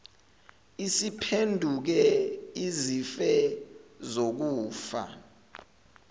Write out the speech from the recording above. isiphenduke izife zokufa